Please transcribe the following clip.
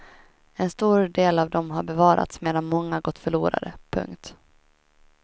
En stor del av dem har bevarats medan många gått förlorade. punkt